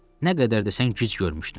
Nə qədər desən gic görmüşdüm.